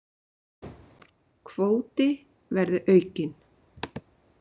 Kvóti verði aukinn